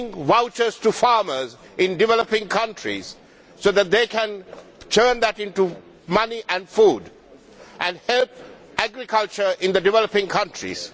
vouchers for farmers in developing countries that they can turn into money and food and that help agriculture in developing countries.